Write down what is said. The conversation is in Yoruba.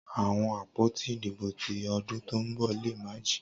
Awọn apoti idibo ti ọdun to nbọ le ma ji.